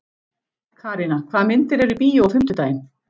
Karína, hvaða myndir eru í bíó á fimmtudaginn?